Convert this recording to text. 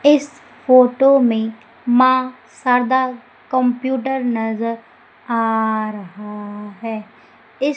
इस फोटो में मां शारदा कंप्यूटर नजर आ रहा है इस--